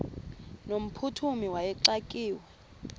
no mphuthumi wayexakiwe